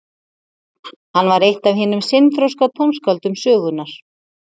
hann var eitt af hinum seinþroska tónskáldum sögunnar